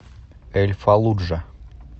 эль фаллуджа